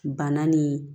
Bana ni